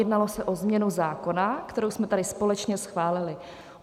Jednalo se o změnu zákona, kterou jsme tady společně schválili.